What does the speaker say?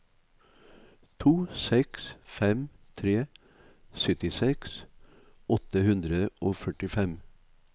to seks fem tre syttiseks åtte hundre og førtifem